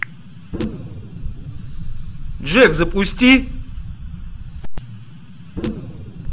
джек запусти